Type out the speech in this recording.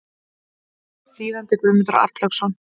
Þýðandi Guðmundur Arnlaugsson.